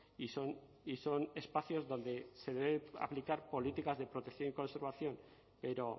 y son y son espacios donde se deben aplicar políticas de protección y conservación pero